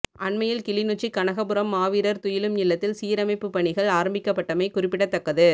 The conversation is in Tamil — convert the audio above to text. அண்மையில் கிளிநொச்சி கனகபுரம் மாவீரர் துயிலும் இல்லத்தில் சீரமைப்பு பணிகள் ஆரம்பிக்கப்பட்டமை குறிப்பிடத்தக்கது